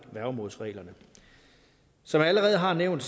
værgemålsreglerne som jeg allerede har nævnt